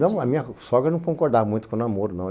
Não, a minha sogra não concordava muito com namoro, não.